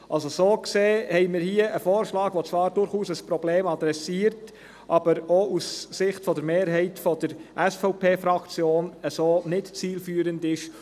Wir haben hier einen Vorschlag, der zwar durchaus ein Problem adressiert, aber auch Sicht der Mehrheit der SVP-Fraktion nicht zielführend ist.